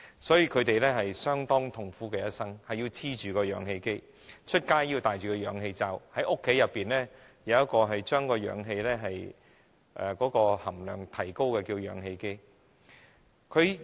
所以，他們的一生相當痛苦，不能離開氧氣機，出外要戴着氧氣罩，在家則要有一個可提高氧氣含量的氧氣機。